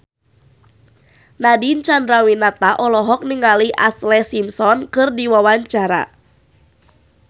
Nadine Chandrawinata olohok ningali Ashlee Simpson keur diwawancara